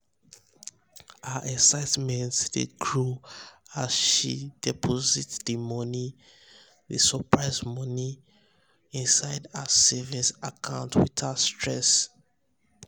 her excitement dey grow as as she deposit di surprise birthday money inside her savings um account without stress.